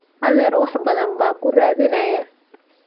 Adeer wax badan baa ku raadinaya.